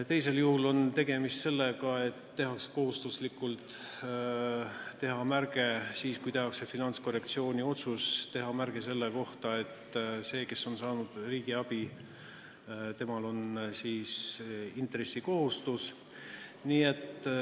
Teisel juhul on tegemist sellega, et kui tehakse finantskorrektsiooni otsus, siis tuleb teha märge selle kohta, et sellel, kes on saanud riigiabi, on intressi maksmise kohustus.